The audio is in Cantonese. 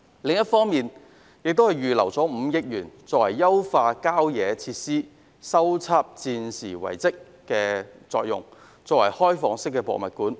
另一方面，司長亦預留5億元優化郊野公園設施，以及修葺戰時遺蹟作開放式博物館。